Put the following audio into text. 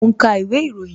Mo ń ka ìwé ìròyìn